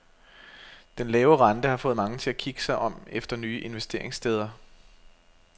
Den lave rente har fået mange til at kigge sig om efter nye investeringssteder.